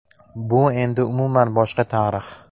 Bu endi umuman boshqa tarix.